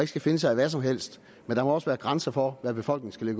skal finde sig i hvad som helst men der må også være grænser for hvad befolkningen